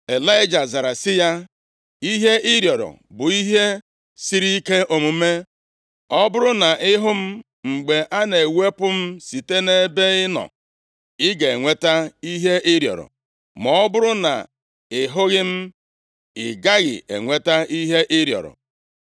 Ịlaịja zara sị ya, “Ihe ị rịọrọ bụ ihe sịrị ike omume. Ọ bụrụ na ị hụ m mgbe a na-ewepụ m site nʼebe ị nọ, ị ga-enweta ihe ị rịọrọ. Ma ọ bụrụ na ị hụghị m, ị gaghị enweta ihe ị rịọrọ.”